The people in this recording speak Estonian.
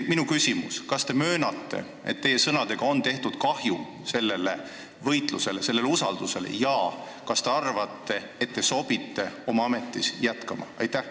Minu küsimus: kas te möönate, et teie sõnad tegid kahju sellele võitlusele, need vähendasid seda usaldust, ja kas te arvate, et teil sobib oma ametis jätkata?